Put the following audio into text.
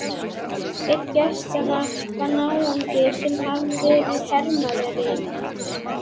Einn gestanna var náungi sem hafði verið hermaður í